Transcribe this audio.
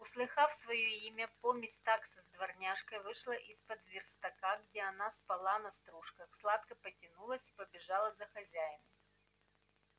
услыхав своё имя помесь такса с дворняжкой вышла из-под верстака где она спала на стружках сладко потянулась и побежала за хозяином